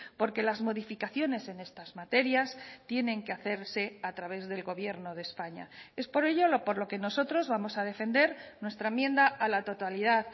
porque las modificaciones en estas materias tienen que hacerse a través del gobierno de españa es por ello por lo que nosotros vamos a defender nuestra enmienda a la totalidad